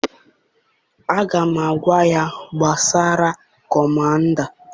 Aga m agwa ya, kpesara kọmanda!